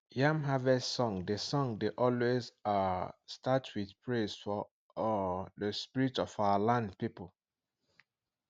yam harvest song dey song dey always um start with praise for um the spirit of our land people